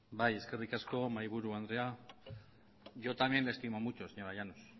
eskerrik asko mahaiburu andrea yo también le estimo mucho señora llanos